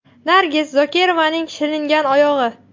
Nargiz Zokirovaning shilingan oyog‘i.